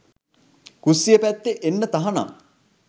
කුස්සිය පැත්තේ එන්න තහනම්.